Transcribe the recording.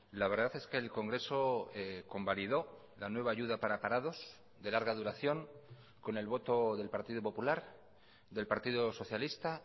la verdad es que el congreso convalidó la nueva ayuda para parados de larga duración con el voto del partido popular del partido socialista